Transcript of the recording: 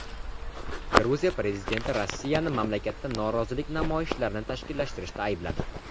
Gruziya prezidenti Rossiyani mamlakatda norozilik namoyishlarini tashkillashtirishda aybladi.